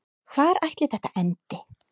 Hvar ætli þetta endi?